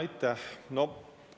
Aitäh!